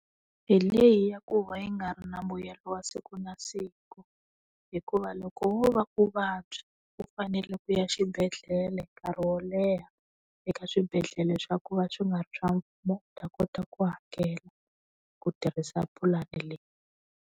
Hi leyi ya ku va yi nga ri na mbuyelo wa siku na siku. Hikuva loko wo va u vabya, u fanele ku ya xibedhlele nkarhi wo leha eka swibedhlele swa ku va swi nga ri swa mfumo, mi ta kota ku hakela. Ku tirhisa pulani leyi.